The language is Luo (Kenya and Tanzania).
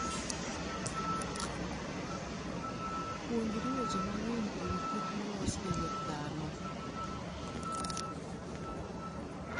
Puonjri weche mang'eny e wi kich molos gi lwet dhano.